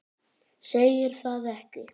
Segir það ekki?